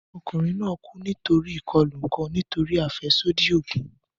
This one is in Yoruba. Ọkunrin naa ku nitori ikọlu ọkan nitori afẹsodi oogun.